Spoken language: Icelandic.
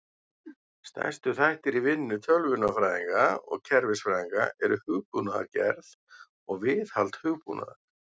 Stærstu þættir í vinnu tölvunarfræðinga og kerfisfræðinga eru hugbúnaðargerð og viðhald hugbúnaðar.